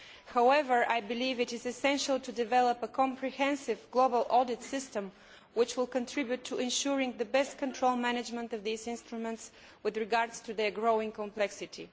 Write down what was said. However, I believe it essential to develop a comprehensive global audit system which will contribute to ensuring the best control management of these instruments in view of their growing complexity.